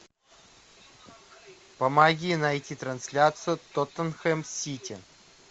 помоги найти трансляцию тоттенхэм сити